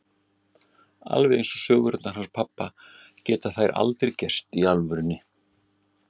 Alveg eins og sögurnar hans pabba geta þær aldrei gerst í alvörunni.